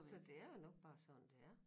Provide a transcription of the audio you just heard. Så det er jo nok bare sådan det er